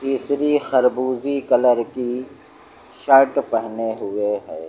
केसरी खरबूजी कलर की शर्ट पहने हुए है।